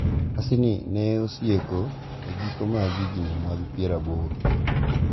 Nyasini ne osieko e giko mag higni mag pier aboro.